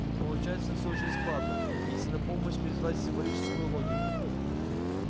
получается всё очень складно если на помощь призвать символическую логику